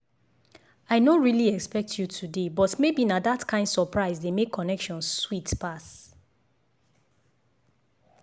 i no really expect you today but maybe na that kain surprise dey make connection sweet pass.